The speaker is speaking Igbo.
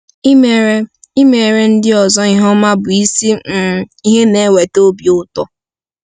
Imere Imere ndị ọzọ ihe ọma bụ isi um ihe na-eweta obi ụtọ.